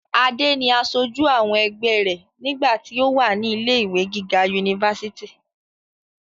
adé ni asojú àwọn ẹgbẹ́ rẹ̀ nígbà tí ó wà ní ilé ìwé gíga unifásitì